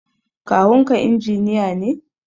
Kawunka injiniya ne?